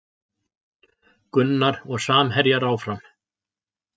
Gunnar og samherjar áfram